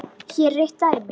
Hér er eitt dæmi.